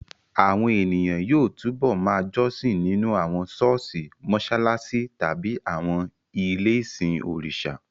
Àwọn ènìyàn yóò túbọ̀ ma jọ́sìn nínú àwọn ṣọ́ọ̀ṣì, mọṣáláṣí tàbí àwọn ilé-ìsìn òrìṣà